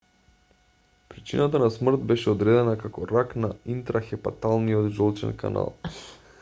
причината на смрт беше одредена како рак на интрахепаталниот жолчен канал